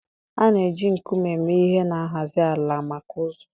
A na-eji nkume eme ihe na nhazi ala maka ụzọ